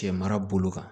Cɛ mara bolo kan